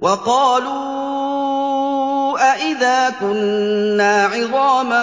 وَقَالُوا أَإِذَا كُنَّا عِظَامًا